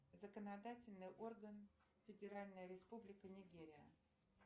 законодательный орган федеральная республика нигерия